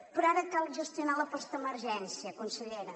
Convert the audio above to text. però ara cal gestionar la postemergència consellera